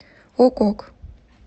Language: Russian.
ок ок